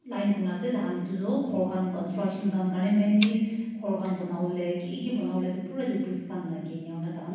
line kuri ne ase tai khan etu toh ghor khan construction khan kharne mainly ghor khan bana wole kiki bana wole pura etu bricks khan lage ena kuri ne tai khan.